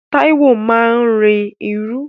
Táíwò máa ń rin irú